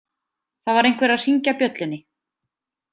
Það var einhver að hringja bjöllunni.